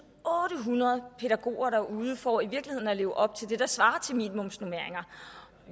otte hundrede pædagoger derude for i virkeligheden at leve op til det der svarer til minimumsnormeringer